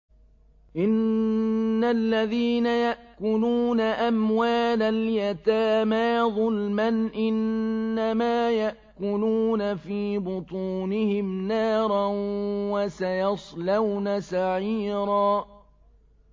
إِنَّ الَّذِينَ يَأْكُلُونَ أَمْوَالَ الْيَتَامَىٰ ظُلْمًا إِنَّمَا يَأْكُلُونَ فِي بُطُونِهِمْ نَارًا ۖ وَسَيَصْلَوْنَ سَعِيرًا